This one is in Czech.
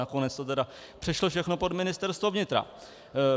Nakonec to tedy přešlo všechno pod Ministerstvo vnitra.